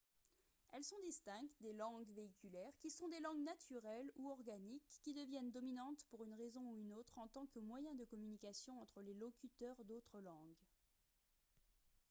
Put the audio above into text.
elles sont distinctes des langues véhiculaires qui sont des langues naturelles ou organiques qui deviennent dominantes pour une raison ou une autre en tant que moyen de communication entre les locuteurs d'autres langues